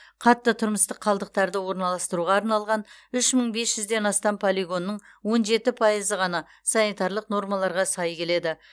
қатты тұрмыстық қалдықтарды орналастыруға арналған үш мың бес жүзден астам полигонның он жеті пайызы ғана санитарлық нормаларға сай келеді